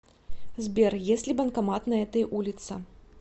сбер есть ли банкомат на этой улице